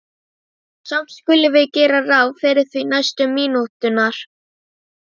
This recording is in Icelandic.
Samt skulum við gera ráð fyrir því næstu mínúturnar.